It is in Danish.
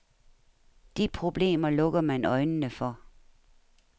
De problemer lukker man øjnene for.